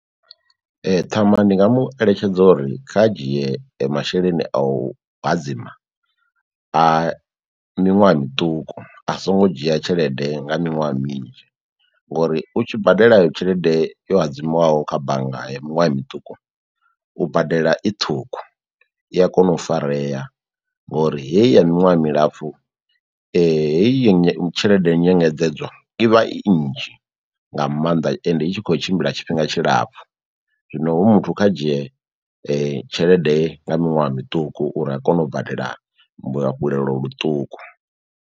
Ee, ṱhama ndi nga mu eletshedza uri kha a dzhie masheleni a u hadzima a miṅwaha miṱuku a songo dzhia tshelede nga miṅwaha minzhi ngori u tshi badela eyo tshelede yo hadzimiwaho kha bannga ya miṅwaha miṱuku u badela i ṱhukhu i a kona u farea, ngori heyi ya miṅwaha milapfu heyi tshelede nyengedzedzwa i vha i nnzhi nga maanḓa ende i tshi kho tshimbila tshifhinga tshilapfhu zwino hu muthu kha dzhie tshelede nga miṅwaha miṱuku uri a kone u badela luafhulelo ḽuṱuku.